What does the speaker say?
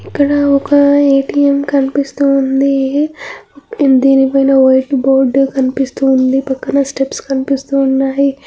ఇక్కడ ఒక A. T. M. కనిపిస్తూవుంది దీని పైన బోర్డు వుంది పక్కనే స్టెప్స్ కూడ ఉన్నాయి.